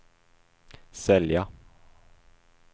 sälja